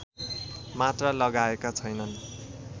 मात्र लगाएका छैनन्